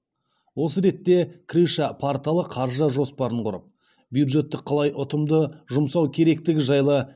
осы ретте крыша порталы қаржы жоспарын құрып бюджетті қалай ұтымды жұмсау керектігі жайлы